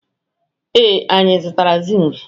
Ee, anyị zụtara zink?